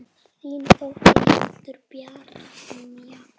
Þín dóttir, Hildur Brynja.